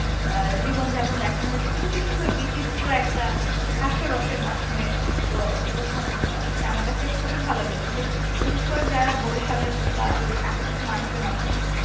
আহ জীবনযাপন দেখানো হয়েছে কিন্তু কিসুন্দর বিচিত্র একটা হাস্যরসের মাধ্যমে আহ উপস্থাপন করা হয়েছে আমার কাছে খুবই ভালো লেগেছে বিশেষ করে যারা বরিশালে কিংবা এ আশেপাশের মানুষজন আছেন